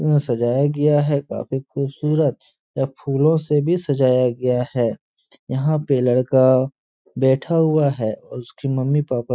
सजाया गया है काफी खूबसूरत। यह फूलों से भी सजाया गया है। यहाँ पे लड़का बैठा हुआ है और उसकी मम्मी पापा --